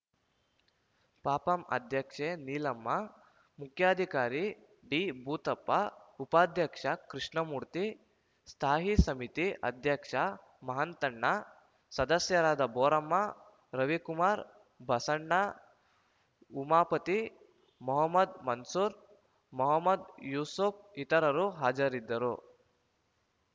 ಪಪಂ ಅಧ್ಯಕ್ಷೆ ನೀಲಮ್ಮ ಮುಖ್ಯಾಧಿಕಾರಿ ಡಿಭೂತಪ್ಪ ಉಪಾಧ್ಯಕ್ಷ ಕೃಷ್ಣಮೂರ್ತಿ ಸ್ಥಾಯಿ ಸಮಿತಿ ಅಧ್ಯಕ್ಷ ಮಹಂತಣ್ಣ ಸದಸ್ಯರಾದ ಬೋರಮ್ಮ ರವಿಕುಮಾರ್‌ ಬಸಣ್ಣ ಉಮಾಪತಿ ಮಹಮ್ಮದ್‌ ಮನ್ಸೂರ್‌ ಮಹಮ್ಮದ್‌ ಯೂಸೂಫ್‌ ಇತರರು ಹಾಜರಿದ್ದರು